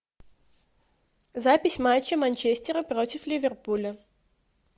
запись матча манчестера против ливерпуля